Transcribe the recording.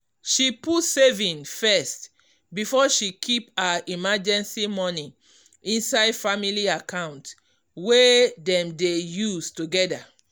she put saving first before she keep her emergency money inside family account wey dem dey use together.